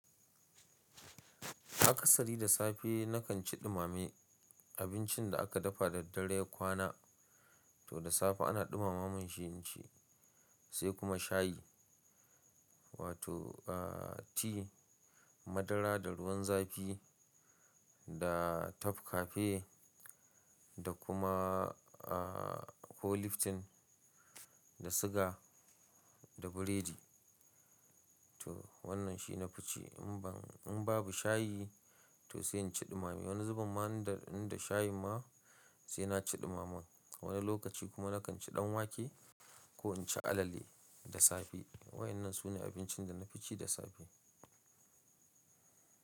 A kasari da safe nakan ci ɗumame abincin da aka dafa da dare ya kwana. To da safe ana ɗumama man shi inci sai kuma shayi wato a tea madara da ruwan zafi da tafkafe da kuma a ko lifton da sugar da biredi. To wannan shi na fici in babu shayi to sai in ci ɗumame. Wani zuben ma inda shayin ma sai na ci ɗumamen. Wani lokaci kuma nakan ci ɗanwake ko in ci alale da safe. Wayannan su ne abincin da na fi ci da safe.